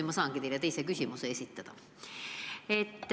Nüüd ma saangi teile teise küsimuse esitada.